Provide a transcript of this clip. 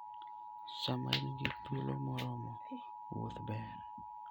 Sama in gi thuolo moromo, wuoth ber.